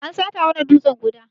An sata mana dutsan guda.